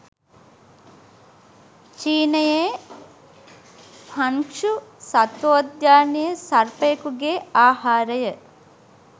චීනයේ Hangzhou සත්වෝද්‍යානයේ සර්පයකුගේ ආහාරය